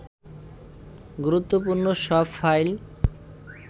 গুরত্বপূর্ণ সব ফাইল